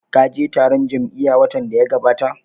Ka je taron jam'iya watan da ya gabata?